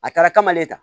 A taara kamalen ta